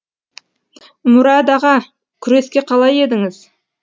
мұрад аға күреске қалай едіңіз